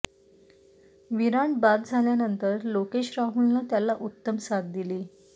विराट बाद झाल्यानंतर लोकेश राहुलनं त्याला उत्तम साथ दिली